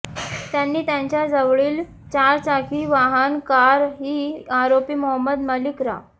त्यांनी त्यांच्या जवळील चारचाकी वाहन कार ही आरोपी मोहम्मद मलीक रा